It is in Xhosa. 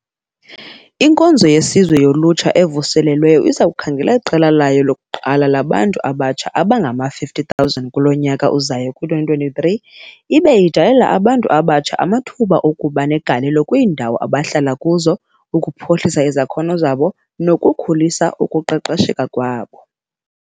"INkonzo yeSizwe yoLutsha evuselelweyo iza kukhangela iqela layo lokuqala labantu abatsha abangama-50 000 kulo nyaka uzayo [ku-2023], ibe idalela abantu abatsha amathuba okuba negalelo kwiindawo abahlala kuzo, ukuphuhlisa izakhono zabo nokukhulisa ukuqesheka kwabo."